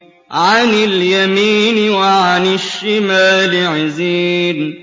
عَنِ الْيَمِينِ وَعَنِ الشِّمَالِ عِزِينَ